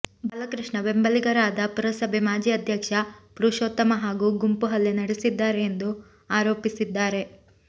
ಬಾಲಕೃಷ್ಣ ಬೆಂಬಲಿಗರಾದ ಪುರಸಭೆ ಮಾಜಿ ಅಧ್ಯಕ್ಷ ಪುರುಷೋತ್ತಮ ಹಾಗೂ ಗುಂಪು ಹಲ್ಲೆ ನಡೆಸಿದ್ದಾರೆ ಎಂದು ಆರೋಪಿಸಿದ್ದಾರೆ